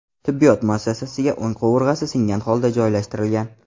tibbiyot muassasasiga o‘ng qovurg‘asi singan holda joylashtirilgan.